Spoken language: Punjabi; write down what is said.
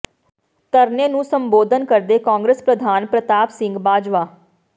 ਧਰਨੇ ਨੂੰ ਸੰਬੋਧਨ ਕਰਦੇ ਕਾਂਗਰਸ ਪ੍ਰਧਾਨ ਪ੍ਰਤਾਪ ਸਿੰਘ ਬਾਜਵਾ